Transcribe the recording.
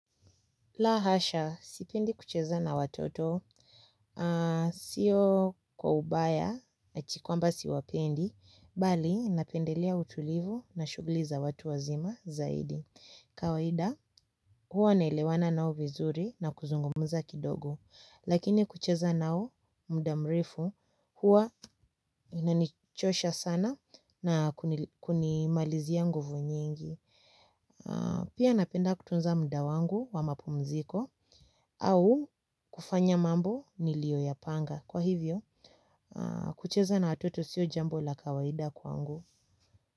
La hasha, sipendi kucheza na watoto, sio kwa ubaya, eti kwamba siwapendi, bali napendelea utulivu na shughuli za watu wazima zaidi. Kawaida, huwa naelewana nao vizuri na kuzungumuza kidogo, lakini kucheza nao muda mrefu, huwa inanichosha sana na kunimalizia nguvu nyingi. Pia napenda kutunza muda wangu wa mapumziko au kufanya mambo niliyo yapanga. Kwa hivyo, kucheza na watoto siyo jambo la kawaida kwangu.